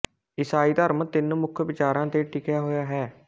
ਈਸਾਈ ਧਰਮ ਤਿੰਨ ਮੁੱਖ ਵਿਚਾਰਾਂ ਤੇ ਟਿਕਿਆ ਹੋਇਆ ਹੈ